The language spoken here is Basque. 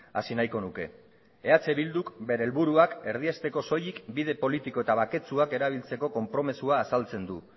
hasi nahiko nuke eh bilduk bere helburuak erdiesteko soilik bide politiko eta baketsuak erabiltzeko konpromisoa azaltzen du